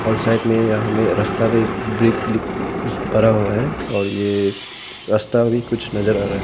और साइड में यहां में रस्ता में कुछ पड़ा हुआ है और ये रास्ता भी कुछ नजर आ रहा--